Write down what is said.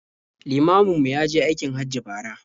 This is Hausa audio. Limamin mu ya je aikin Hajji bara.